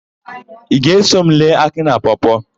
Ị ga-eso m lee Akị na Pọọ-pọọ?